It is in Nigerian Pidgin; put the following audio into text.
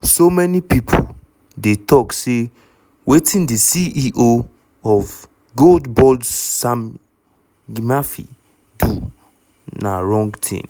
so many pipo dey tok say wetin di ceo of gold board sammy gyamfi do na wrong tin.